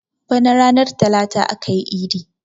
Bana ranar talata akayi idi